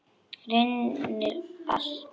Reyndir allt.